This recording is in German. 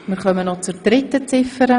Wir kommen noch zur dritten Ziffer.